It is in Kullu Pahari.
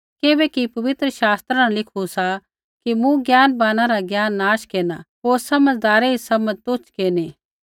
किबैकि पवित्र शास्त्रा न लिखू सा कि मूँ ज्ञानवाना रा ज्ञान नष्ट केरना होर समझ़दारै री समझ़ तुच्छ केरनी